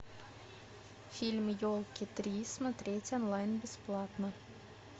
фильм елки три смотреть онлайн бесплатно